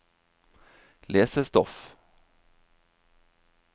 lesestoff